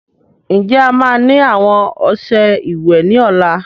Ǹjẹ́ ẹ má ni àwọn ọsẹ ìwẹ̀ ni ọ̀la?